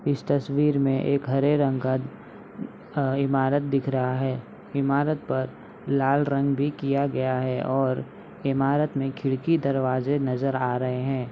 इस तस्वीर में एक हरे रंग का अ इमारत दिख रहा है इमारत पर लाल रंग भी किया गया है और इमारत में खिड़की दरवाजे नजर आ रहे है।